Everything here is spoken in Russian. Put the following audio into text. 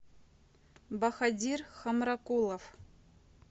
бахадир хамракулов